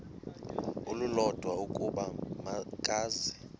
olulodwa ukuba makeze